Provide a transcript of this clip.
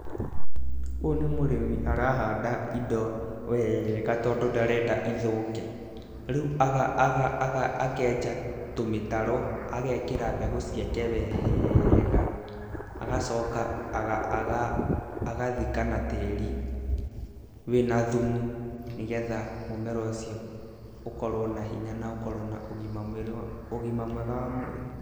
Ũyũ nĩ mũrĩmi arahanda indo wega, tondũ ndarenda ithũke, rĩu akenja tũmĩtaro, agekĩra mbegũ ciake wega, agacoka agathika na tĩri wĩ na thumu, nĩgetha mũmera ũcio ũkorwo na hinya na ũkorwo na ũgima mwega wa mwĩrĩ.